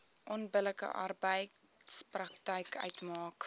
onbillike arbeidspraktyk uitmaak